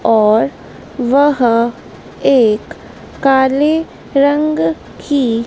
और वह एक काले रंग की--